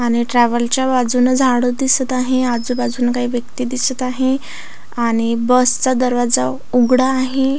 आणि ट्रॅव्हल च्या बाजून झाड दिसत आहे आजूबाजून काही व्यक्ती दिसत आहे. आणि बस चा दरवाजा उघडा आहे.